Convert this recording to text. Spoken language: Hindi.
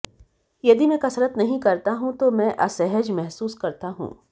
यदि मैं कसरत नहीं करता हूं तो मैं असहज महसूस करता हूं